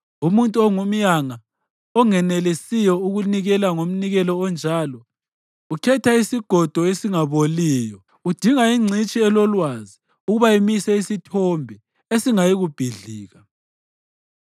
Umuntu ongumyanga onganelisiyo ukunikela ngomnikelo onjalo ukhetha isigodo esingaboliyo. Udinga ingcitshi elolwazi ukuba imise isithombe esingayikubhidlika.